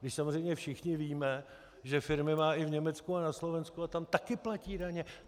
My samozřejmě všichni víme, že firmy má i v Německu a na Slovensku a tam také platí daně.